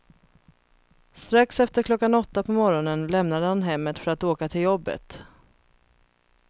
Strax efter klockan åtta på morgonen lämnade han hemmet för att åka till jobbet.